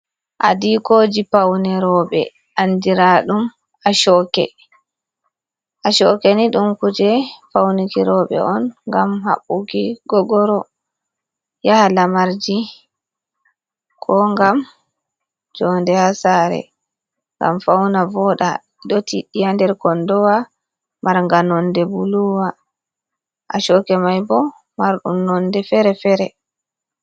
Aɗiikoji paunir robe andiraɗum ashoke. Ashokeni ɗum kuje pauniki robe on ngam habbuki gogoro yaha lamarji. Ko ngam jonɗe ha sare ngam fauna vooɗa. Ɗo tiɗɗi ha nder konɗowa marga nonɗe buluwa. Ashoke mai bo marɗum nonɗe fere-fere.